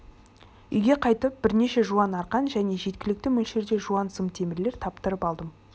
үйге қайтып бірнеше жуан арқан және жеткілікті мөлшерде жуан сым темірлер таптырып алдым